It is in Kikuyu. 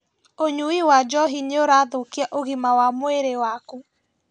ũnyui wa njohi nĩũrathũkia ũgima wa mwĩrĩ waku